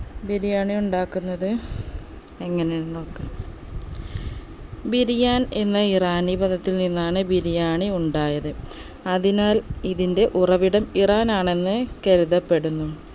ബിരിയാണി ഉണ്ടാക്കുന്നത് എങ്ങനെയാണെന്ന് നോക്കാം ബിരിയാൻ എന്ന ഇറാനി പദത്തിൽ നിന്നാണ് ബിരിയാണി ഉണ്ടായത് അതിനാൽ ഇതിന്റെ ഉറവിടം ഇറാൻ ആണെന്ന് കരുതപ്പെടുന്നു